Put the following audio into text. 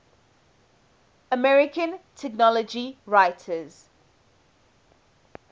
american technology writers